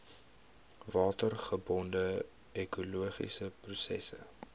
watergebonde ekologiese prosesse